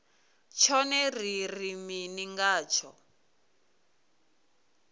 tshone ri ri mini ngatsho